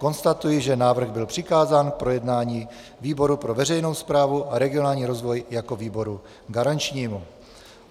Konstatuji, že návrh byl přikázán k projednání výboru pro veřejnou správu a regionální rozvoj jako výboru garančnímu.